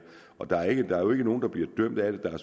og der er jo ikke nogen der bliver dømt af det der